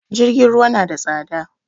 Jirgin ruwa na da tsada